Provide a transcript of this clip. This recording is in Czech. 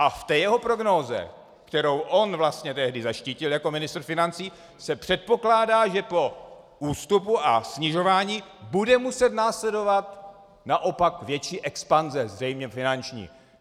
A v té jeho prognóze, kterou on vlastně tehdy zaštítil jako ministr financí, se předpokládá, že po ústupu a snižování bude muset následovat naopak větší expanze, zřejmě finanční.